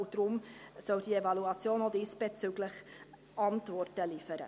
Deshalb soll diese Evaluation auch diesbezüglich Antworten liefern.